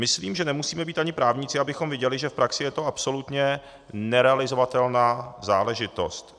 Myslím, že nemusíme být ani právníci, abychom viděli, že v praxi je to absolutně nerealizovatelná záležitost.